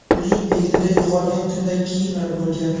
Uning egnida yo‘qolgan kundagi kiyimlar bo‘lgan.